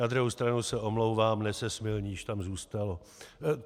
Na druhou stranu se omlouvám, "nesesmilníš" tam zůstalo.